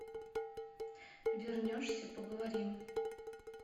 вернешься поговорим